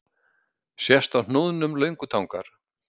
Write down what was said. Sést á hnúðnum löngutangar.